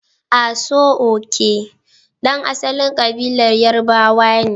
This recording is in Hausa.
Aso-oke, ɗan asalin kabilar Yarbawa ne.